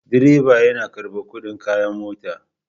Direba yana karɓar kuɗin kaya a mota.